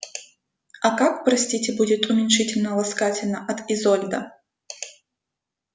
а как простите будет уменьшительно-ласкательно от изольда